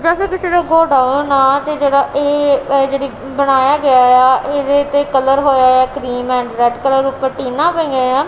ਇਹਦੇ ਤੇ ਕਲਰ ਹੋਇਆਯਾ ਕ੍ਰੀਮ ਐਂਡ ਰੈੱਡ ਕਲਰ ਊਪਰ ਟੀਨਾਂ ਪਈਆਂਯਾਂ।